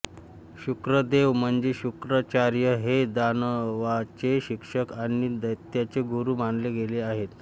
शुक्रदेव म्हणजे शुक्राचार्य हे दानवांचे शिक्षक आणि दैत्यांचे गुरु मानले गेले आहेत